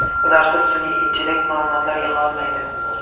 Ularsiz sun’iy intellekt ma’lumotlar yig‘a olmaydi.